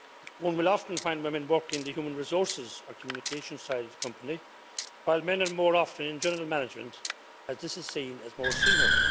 One will often find women working in the human resources or communication side of a company, while men are more often in general management as this is seen as more senior.